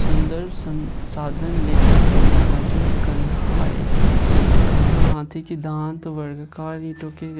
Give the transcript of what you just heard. सुन्दर सुन साधन लिपस्टिक काजल कंघा हाय कंघा हाथी की दांत